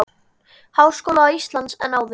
Háskóla Íslands en áður.